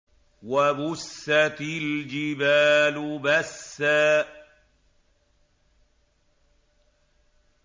وَبُسَّتِ الْجِبَالُ بَسًّا